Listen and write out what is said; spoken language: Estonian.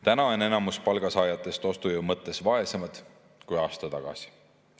Täna on enamus palgasaajatest ostujõu mõttes vaesemad kui aasta tagasi.